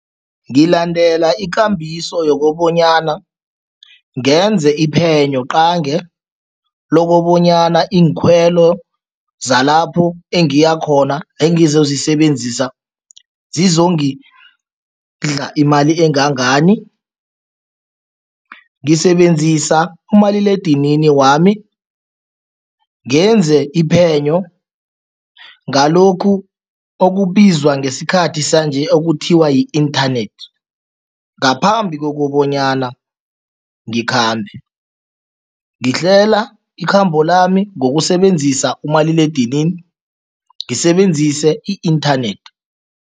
Ngilandela ikambiso yokobanyana ngenze iphenyo qange lokobonyana iinkhwelo zalapho engiyakhona, engizozisebenzisa zizongidla imali engangani. Ngisebenzisa umaliledinini wami, ngenze iphenyo ngalokhu okubizwa ngesikhathi sanje okuthiwa yi-inthanethi, ngaphambi kokobanyana ngikhambe. Ngihlela ikhambo lami ngokusebenzisa umaliledinini, ngisebenzise i-inthanethi.